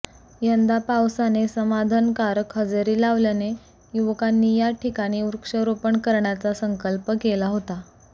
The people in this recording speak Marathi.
यंदा पावसाने समाधाकारक हजेरी लावल्याने युवकांनी या ठिकाणी वृक्षारोपण करण्याचा संकल्प केला होता